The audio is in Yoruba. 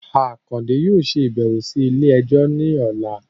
Akande yóò ṣabẹwo si ile-ẹjọ ni ọla